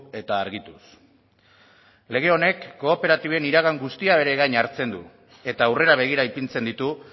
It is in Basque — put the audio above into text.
eta argituz lege honek kooperatiben iragan guztia bere gain hartzen du eta aurrera begira ipintzen ditu